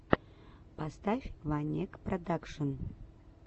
поставь ванекпродакшн